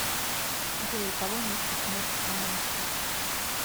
джой у кого место смерти каменской